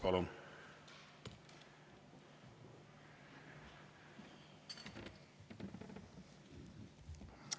Palun!